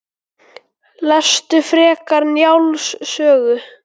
Lestu frekar Njáls sögu